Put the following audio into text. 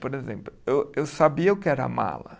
Por exemplo, eu eu sabia o que era mala.